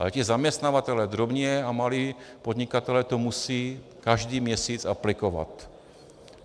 Ale ti zaměstnavatelé, drobní a malí podnikatelé, to musí každý měsíc aplikovat.